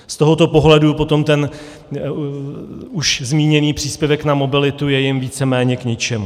Z tohoto pohledu potom ten už zmíněný příspěvek na mobilitu je jim víceméně k ničemu.